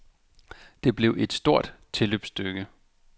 Det blev et stort et tilløbsstykke.